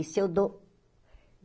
E se eu dou?